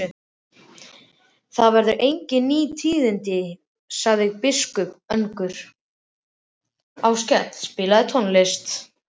Það eru engin ný tíðindi, sagði biskup önugur.